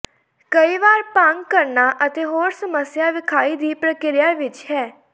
ਕਈ ਵਾਰ ਭੰਗ ਕਰਨਾ ਅਤੇ ਹੋਰ ਸਮੱਸਿਆ ਵਿਖਾਈ ਦੀ ਪ੍ਰਕਿਰਿਆ ਵਿੱਚ ਹੈ